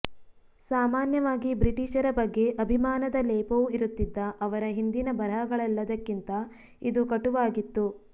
ಸಾಮಾನ್ಯವಾಗಿ ಬ್ರಿಟಿಷರ ಬಗ್ಗೆ ಅಭಿಮಾನದ ಲೇಪವೂ ಇರುತ್ತಿದ್ದ ಅವರ ಹಿಂದಿನ ಬರಹಗಳೆಲ್ಲದಕ್ಕಿಂತ ಇದು ಕಟುವಾಗಿತ್ತು